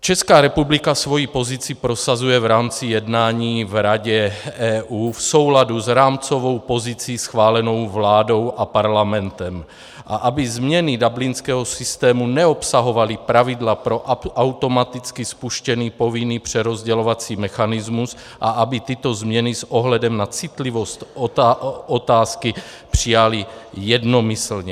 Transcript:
Česká republika svou pozici prosazuje v rámci jednání v Radě EU v souladu s rámcovou pozicí schválenou vládou a parlamentem, a aby změny dublinského systému neobsahovaly pravidla pro automaticky spuštěný povinný přerozdělovací mechanismus a aby tyto změny s ohledem na citlivost otázky přijaly jednomyslně.